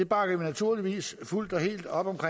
bakker vi naturligvis fuldt og helt op om så